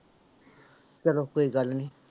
ਚਲੋ ਕੋਈ ਗੱਲ ਨੀ।